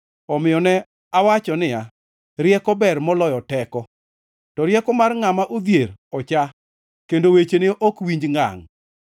Omiyo ne awacho niya, “Rieko ber moloyo teko.” To rieko mar ngʼama odhier ocha, kendo wechene ok winj ngangʼ.